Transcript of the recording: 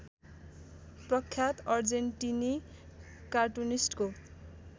प्रख्यात अर्जेन्टिनी कार्टुनिस्टको